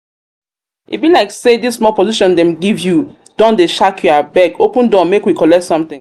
e be like dis small position dem give you don dey shark you abeg open door make we collect something